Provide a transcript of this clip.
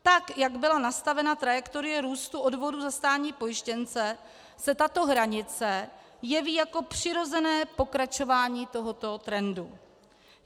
Tak jak byla nastavena trajektorie růstu odvodů za státní pojištěnce, se tato hranice jeví jako přirozené pokračování tohoto trendu.